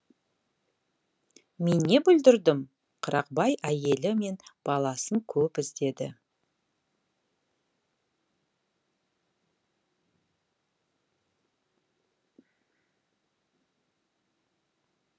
мен не бүлдірдім қырықбай әйелі мен баласын көп іздеді